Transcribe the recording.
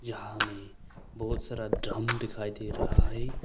यहां हमें बहुत सारा ड्रम दिखाई दे रहा है।